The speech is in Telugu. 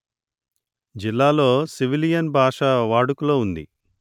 జిల్లాలో సివిలియన్ భాషవాడుకలో ఉంది